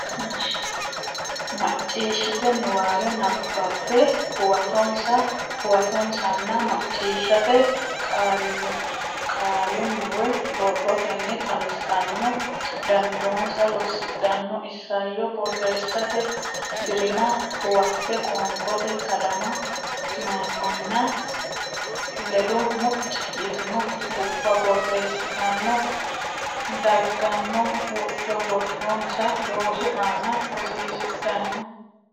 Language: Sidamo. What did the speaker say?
macciishshite niwaawe nabbabbe huwatonsa huwatonsanna macciishshate qallunni woy borrotenni xawissanno dandoonsa lossidhanno isayyo borreessate dirimma huwatte qonqote kadama mayimmanna ledo mucci yitino guffa borreessitanno dagganno wodho borronsa loosu aana hosiisidhanno.